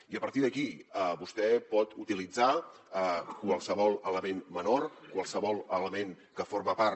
i a partir d’aquí vostè pot utilitzar qualsevol element menor qualsevol element que forma part